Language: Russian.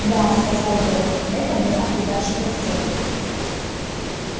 да сказал горов это была удачная сделка